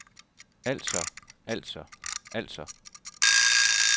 altså altså altså